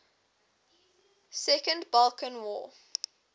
second balkan war